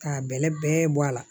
K'a bɛlɛ bɛɛ bɔ a la